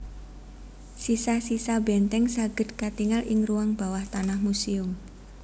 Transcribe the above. Sisa sisa benteng saged katingal ing ruang bawah tanah muséum